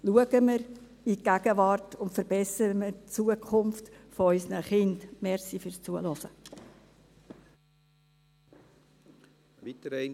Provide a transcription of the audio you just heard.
Schauen wir in die Gegenwart und verbessern wir die Zukunft von unseren Kindern.